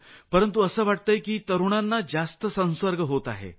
परंतु असं दिसतंय की तरूणांनाही संसर्ग होत आहे